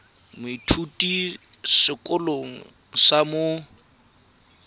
moithuti mo sekolong sa mo